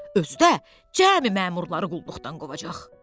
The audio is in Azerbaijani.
Özü də cəmi məmurları qulluqdan qovacaq.